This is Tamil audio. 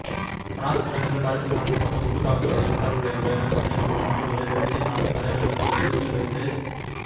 பிரான்ஸ் தலைநகர் பாரிஸில் நடத்தப்பட்ட குண்டுத் தாக்குதலுடன் தொடர்புடையவர்கள் என சந்தேகப்படும் நபர்களை பெல்ஜியம் நாட்டுத் தலைநகர் பிரசல்ஸில் வைத்து